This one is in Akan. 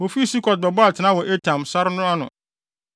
Wofii Sukot bɛbɔɔ atenae wɔ Etam, sare no ano.